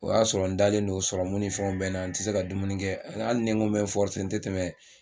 O y'a sɔrɔ n dalen don ni fɛnw bɛ n na n tɛ se ka dumuni kɛ hali ne n ko n bɛ n n tɛ tɛmɛ